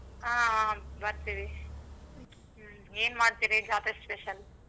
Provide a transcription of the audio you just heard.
ಆಹ್ ಹ್ಮ್‌ ಬರ್ತಿವಿ ಹ್ಮ್‌ ಎನ್ ಮಾಡ್ತೀರಿ ಜಾತ್ರೆ special?